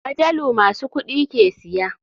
Majalu masu kuɗi ke siya.